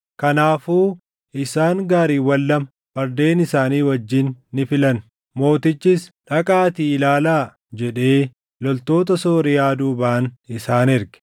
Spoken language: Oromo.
Kanaafuu isaan gaariiwwan lama fardeen isaanii wajjin ni filan; mootichis, “Dhaqaatii ilaalaa” jedhee loltoota Sooriyaa duubaan isaan erge.